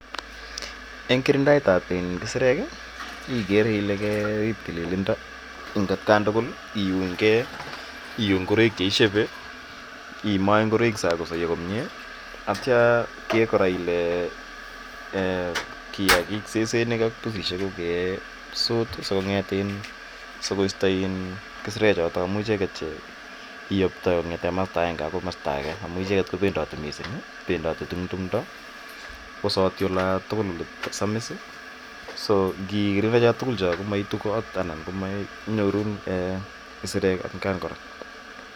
Eng' kirindaet ap kisireek igere ile kerip tililindo atkan kora, iun gei, ion ngoroik che ishepe, imae ngoroik kosaya komye, atia iger kora kole kiakik ,sesenik ak pusishek ko kesut siko isto kisirechotok amu icheget che iyaptai kong'ete ke komasta ege akoi age, amu icheget ko pendati missing'. Pendati eng' tumdo kowasati ola tugul ole samis. So ngikirinde cha tugul cho komaitu kot anan ko manyorun kisireek atkan kora.